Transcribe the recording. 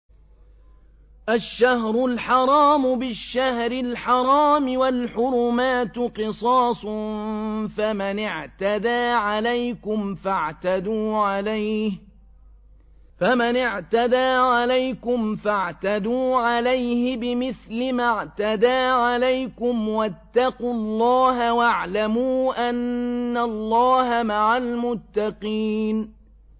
الشَّهْرُ الْحَرَامُ بِالشَّهْرِ الْحَرَامِ وَالْحُرُمَاتُ قِصَاصٌ ۚ فَمَنِ اعْتَدَىٰ عَلَيْكُمْ فَاعْتَدُوا عَلَيْهِ بِمِثْلِ مَا اعْتَدَىٰ عَلَيْكُمْ ۚ وَاتَّقُوا اللَّهَ وَاعْلَمُوا أَنَّ اللَّهَ مَعَ الْمُتَّقِينَ